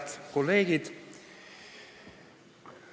Head kolleegid!